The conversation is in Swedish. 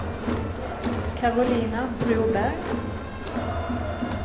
Karolina Broberg